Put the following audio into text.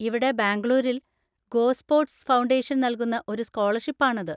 ഇവിടെ ബാംഗളൂരിൽ GoSports foundation നൽകുന്ന ഒരു സ്കോളർഷിപ്പ് ആണത്.